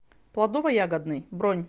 плодово ягодный бронь